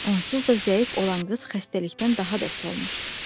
Onsuz da zəif olan qız xəstəlikdən daha da solmuşdu.